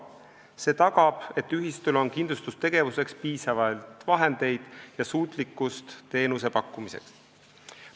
See tagab, et ühistul on kindlustustegevuseks piisavalt vahendeid ja suutlikkus teenust pakkuda.